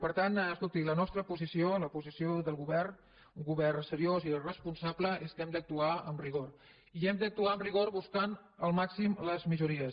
per tant escolti la nostra posició la posició del govern un govern seriós i responsable és que hem d’actuar amb rigor i hem d’actuar amb rigor buscant al màxim les majories